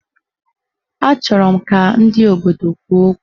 Achọrọ m ka ndị obodo kwuo okwu